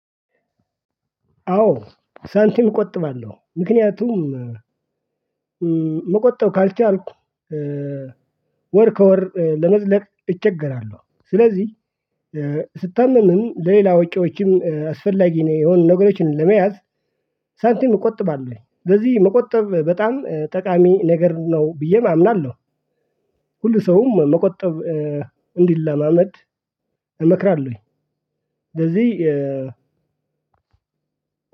አዎ ሳንቲም እቆጥባለሁ ምክንያቱም መቆጠብ ካልቻልኩ ወር ከወር ለመዝለቅ እቸገራለሁ። ስለዚህ ስታመምም ሌላ ወጪዎችን አስፈላጊ የሆኑ ነገሮችን ለመያዝ ሳንቲም እቆጥባለሁ። በዚህ መቆጠብ በጣም ጠቃሚ ነገር ነው ብዬም አምናለሁ። ሁሉ ሰውም መቆጠብ እንዲለማመድ እመክራለሁኝ። ለዚህ